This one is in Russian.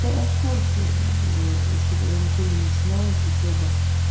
да я в курсе ещё когда ничего не начиналось особо